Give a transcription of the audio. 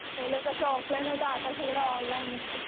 पहिलं कसं सगळं ऑफलाईन होतं आता सगळं ऑनलाईन ये.